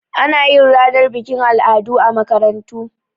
Anayin ranar bikin al'adu a makarantu